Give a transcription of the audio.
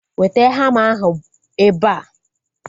Weta hama ahu ebea!